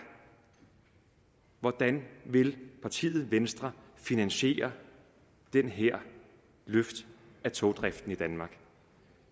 hvordan vil partiet venstre finansiere det her løft af togdriften i danmark